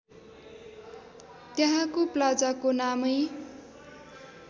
त्यहाँको प्लाजाको नामै